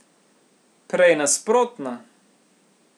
Prej nasprotno!